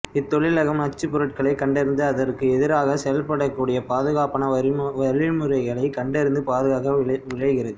இத்தொழிலகம் நச்சுப்பொருட்களை கண்டறிந்து அதற்கு எதிராக செயல்படக்கூடிய பாதுகாப்பான வழிமுறைகளை கண்டறிந்து பாதுகாக்க விழைகிறது